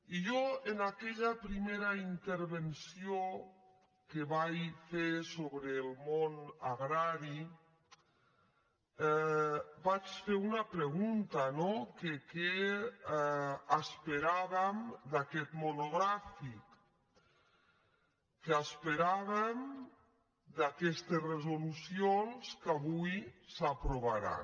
i jo en aquella primera intervenció que vaig fer sobre el món agrari vaig fer una pregunta no que què es·peràvem d’aquest monogràfic què esperàvem d’aques·tes resolucions que avui s’aprovaran